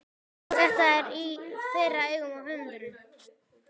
Þetta er í þeirra augum höfundurinn